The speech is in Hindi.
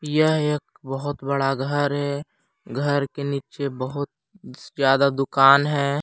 यह एक बहुत बड़ा घर है घर के नीचे बहुत ज्यादा दुकान हैं।